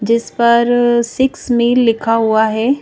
जिस पर six mile लिखा हुआ हैं।